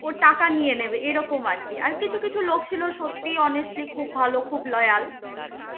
ও টাকা নিয়ে নেবে এই রকম আরকি. আর কিছু কিছু লোক ছিল সত্যি honestly খুব ভাল খুব loyal